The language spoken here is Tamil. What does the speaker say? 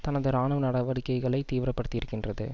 தனது இராணுவ நடவடிக்கைகளை தீவிரப்படுத்தியிருக்கின்றது